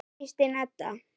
Þín Kristín Edda.